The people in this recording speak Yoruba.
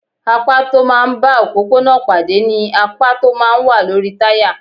Apá tó máa ń bá òpópónà pàdé ni apá tó máa ń wà lórí táyà.